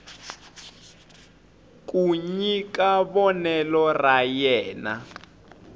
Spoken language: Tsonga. ku nyika vonelo ra yena